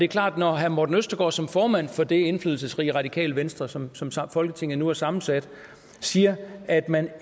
klart at når herre morten østergaard som formand for det indflydelsesrige radikale venstre sådan som folketinget nu er sammensat siger at man